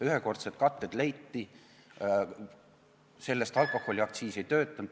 Ühekordsed katted leiti, alkoholiaktsiis ei töötanud ...